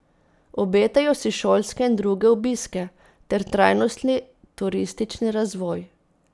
Obetajo si šolske in druge obiske ter trajnostni turistični razvoj.